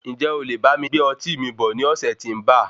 Ǹjẹ́ olè bámi gbé ọtí mi bọ̀ ní ọ̀sẹ̀ tí ń ba?